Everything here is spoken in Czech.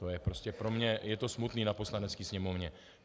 To je prostě pro mě - je to smutné na Poslanecké sněmovně.